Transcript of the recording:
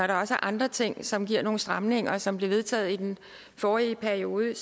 der også er andre ting som giver nogle stramninger og som blev vedtaget i den forrige periode